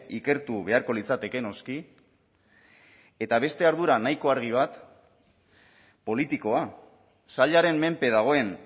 ikertu beharko litzateke noski eta beste ardura nahiko argi bat politikoa sailaren menpe dagoen